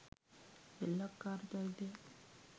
සෙල්ලක්කාර චරිතයක්